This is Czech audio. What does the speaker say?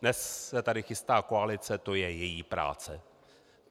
Dnes se tady chystá koalice, to je její práce.